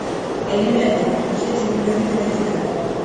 элементы приключения в микромире найди ка